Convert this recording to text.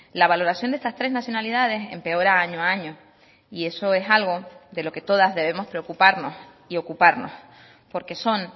la valoración de estas tres nacionalidades empeora año a año y eso es algo de lo que todas debemos preocuparnos y ocuparnos porque son